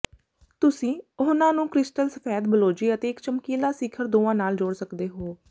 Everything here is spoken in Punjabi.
ਤੁਸੀਂ ਉਹਨਾਂ ਨੂੰ ਕ੍ਰਿਸਟਲ ਸਫੈਦ ਬਲੌਜੀ ਅਤੇ ਇਕ ਚਮਕੀਲਾ ਸਿਖਰ ਦੋਵਾਂ ਨਾਲ ਜੋੜ ਸਕਦੇ ਹੋ